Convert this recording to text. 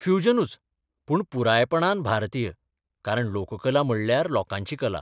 फ्युजनूच, पूण पुरायपणान भारतीय, कारण लोककला म्हणल्यार लोकांची कला.